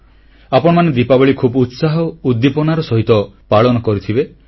ଆପଣମାନେ ଦୀପାବଳୀ ଖୁବ୍ ଉତ୍ସାହଉଦ୍ଦୀପନାର ସହ ପାଳନ କରିଥିବେ